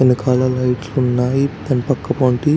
వెనెకకాల లైట్లు ఉన్నాయ్ దాని పక్కపొంటి --